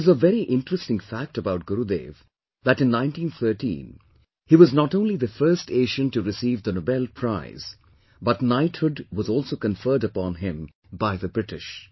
There is a very interesting fact about Gurudev that in 1913 he was not only the first Asian to receive the Nobel Prize, but Knighthood was also conferred upon him by the British